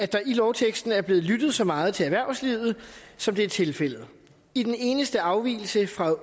der i lovteksten er blevet lyttet så meget til erhvervslivet som det er tilfældet i den eneste afvigelse fra